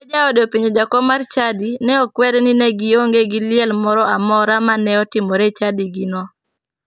Kane jaode openjo jakom mar chadi, ne okwere ni ne gionge gi liel moro amora ma ne otimore e chadigino.